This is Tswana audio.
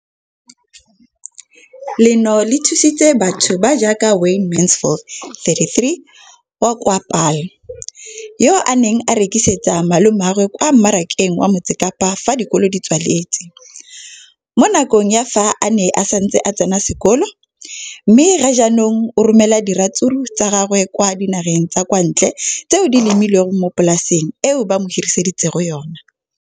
leno le thusitse batho ba ba jaaka Wayne Mansfield, 33, wa kwa Paarl, yo a neng a rekisetsa malomagwe kwa Marakeng wa Motsekapa fa dikolo di tswaletse, mo nakong ya fa a ne a santse a tsena sekolo, mme ga jaanong o romela diratsuru tsa gagwe kwa dinageng tsa kwa ntle tseo a di lemileng mo polaseng eo ba mo hiriseditseng yona.